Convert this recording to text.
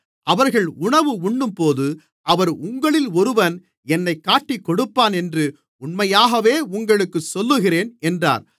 அவர்கள் உணவு உண்ணும்போது அவர் உங்களிலொருவன் என்னைக் காட்டிக்கொடுப்பான் என்று உண்மையாகவே உங்களுக்குச் சொல்லுகிறேன் என்றார்